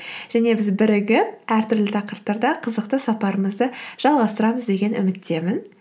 және біз бірігіп әртүрлі тақырыптарда қызықты сапарымызды жалғастырамыз деген үміттемін